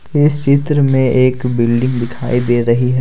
इस चित्र में एक बिल्डिंग दिखाई दे रही है।